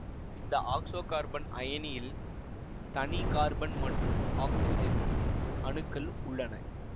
இந்த ஆக்சோகார்பன் அயனியில் தனி கார்பன் மற்றும் ஆக்சிசன் அணுக்கள் உள்ளன